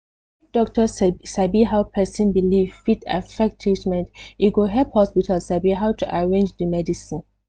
if doctor sabi how person belief fit affect treatment e go help hospital sabi how to arrange the medicine